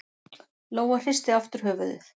Lóa hristi aftur höfuðið.